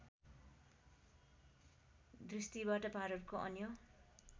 दृष्टिबाट भारतको अन्य